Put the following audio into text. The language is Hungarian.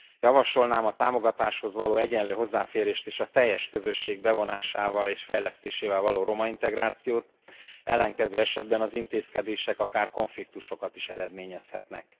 Javasolnám a támogatáshoz való egyenlő hozzáférést és a teljes közösség bevonásával és fejlesztésével való romaintegrációt, ellenkező esetben az intézkedések akár konfliktusokat is eredményezhetnek.